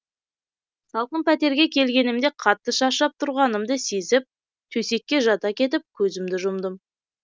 салқын пәтерге келгенімде қатты шаршап тұрғанымды сезіп төсекке жата кетіп көзімді жұмдым